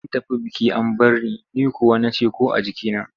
An tafi biki an bar in, ni kuwa na ce ‘ko a jikina.